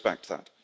I respect that.